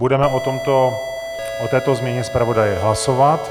Budeme o této změně zpravodaje hlasovat.